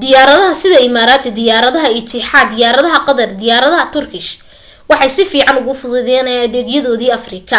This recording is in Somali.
diyaaradaha sida imaraati diyaaradda itixaad diyaarada qatar & diyaaradaha turkish waxay si fiican ugu fududeeyeen adeegyadoodii afrika